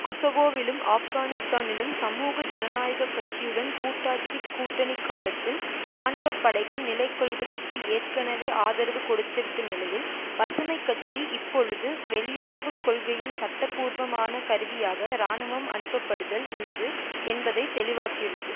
கொசவோவிலும் ஆப்கானிஸ்தானிலும் சமூக ஜனநாயக கட்சியுடன் கூட்டாட்சி கூட்டணி காலத்தில் இராணுவ படைகள் நிலைகொள்வதற்கு ஏற்கனவே ஆதரவு கொடுத்துவிட்ட நிலையில் பசுமை கட்சி இப்பொழுது வெளியுறவு கொள்கையின் சட்டபூர்வமான கருவியாக இராணுவம் அனுப்பப்படுதல் உள்ளது என்பதை தெளிவாக்கியுள்ளது